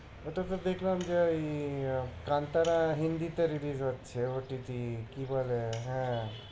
ওটা তো দেখলাম যে ওই কান্তারা হিন্দিতে release